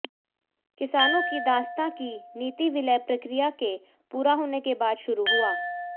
किसानों की दासता की नीति विलय प्रक्रिया के पूरा होने के बाद शुरू हुआ